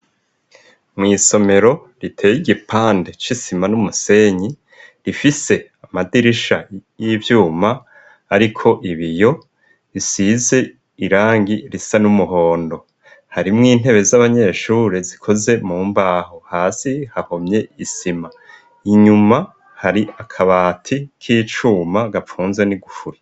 mw' isomero riteye igipande c'isima n'umusenyi rifise amadirisha y'ivyuma ariko ibiyo bisize irangi risa n'umuhondo harimwo intebe z'abanyeshure zikoze mu mbaho hasi hahomye isima inyuma hari akabati k'icuma gapfunza n'igufuri